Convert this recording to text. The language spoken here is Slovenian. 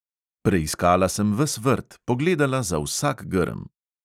Preiskala sem ves vrt, pogledala za vsak grm.